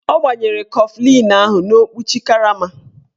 Ọ gbanyere kọflịn ahụ n'okwuchi karama